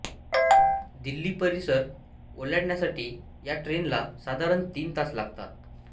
दिल्ली परिसर ओलांडण्यासाठी या ट्रेनला साधारण तीन तास लागतात